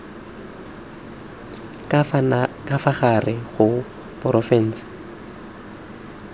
ka fa gare ga porofensi